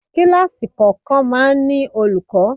Kíláàsì kọ̀ọ̀kan máa ń ní olùkọ́.